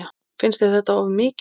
Finnst þér þetta of mikið?